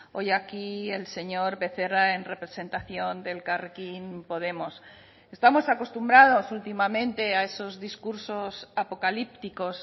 hoy aquí el señor becerra en representación de elkarrekin podemos estamos acostumbrados últimamente a esos discursos apocalípticos